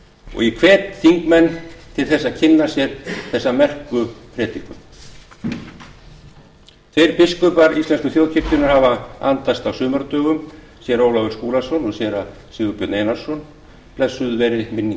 og ég hvet þingmenn til þess að kynna sér þessa merku predikun tveir biskupar íslensku þjóðkirkjunnar hafa andast á sumardögum séra ólafur skúlason og séra sigurbjörn einarsson blessuð veri minning